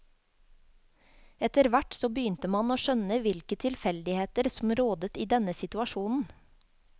Etterhvert så begynte man å skjønne hvilke tilfeldigheter som rådet i denne situasjonen.